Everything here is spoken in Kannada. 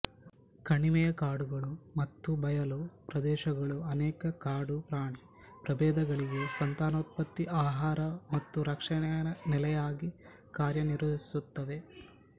ಕಣಿವೆಯ ಕಾಡುಗಳು ಮತ್ತು ಬಯಲು ಪ್ರದೇಶಗಳು ಅನೇಕ ಕಾಡು ಪ್ರಾಣಿ ಪ್ರಭೇದಗಳಿಗೆ ಸಂತಾನೋತ್ಪತ್ತಿ ಆಹಾರ ಮತ್ತು ರಕ್ಷಣೆಯ ನೆಲೆಯಾಗಿ ಕಾರ್ಯನಿರ್ವಹಿಸುತ್ತವೆ